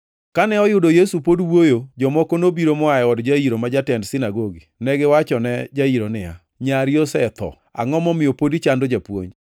Kane oyudo Yesu pod wuoyo, jomoko nobiro moa e od Jairo ma jatend sinagogi. Negiwachone Jairo niya, “Nyari osetho, angʼo momiyo pod ichando Japuonj?”